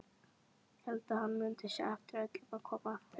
Hélt hann mundi sjá eftir öllu og koma aftur.